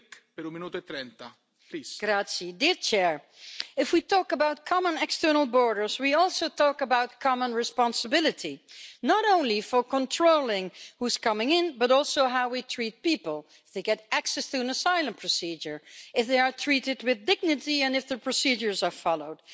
Mr President, if we talk about common external borders we also talk about common responsibility, not only for controlling who is coming in, but also how we treat people if they get access to an asylum procedure, if they are treated with dignity and if the procedures are followed.